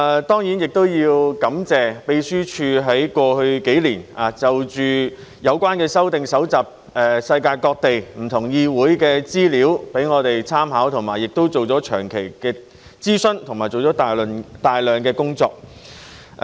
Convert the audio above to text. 當然，我也要感謝秘書處在過去數年就着有關的修訂搜集世界各地不同議會的資料供我們參考，以及做了長期的諮詢和大量的工作。